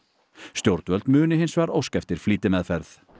stjórnvöld muni hins vegar óska eftir flýtimeðferð